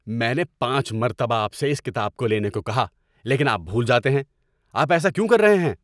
میں نے پانچ مرتہ آپ سے اس کتاب کو لینے کو کہا لیکن آپ بھول جاتے ہیں۔ آپ ایسا کیوں کر رہے ہیں؟